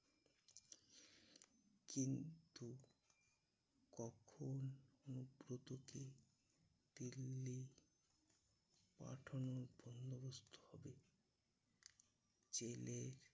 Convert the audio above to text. কিন্তু কখন অনুব্রতকে দিল্লি পাঠানোর বন্দোবস্ত হবে? জেলে